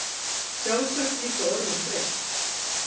Sjálfsagt líka orðin þreytt.